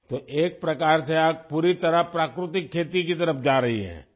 تو ایک طرح سے آپ مکمل طور پر قدرتی کھیتی کی طرف بڑھ رہی ہیں